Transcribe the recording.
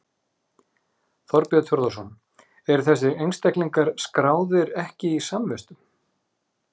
Þorbjörn Þórðarson: Eru þessir einstaklingar skráðir ekki í samvistum?